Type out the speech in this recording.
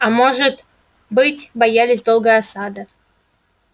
а может быть боялись долгой осады